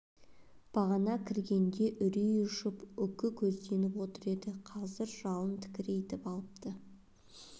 бағана кіргенде үрей ұшып үкі көзденіп отыр еді қазір жалын тікірейтіп алыпты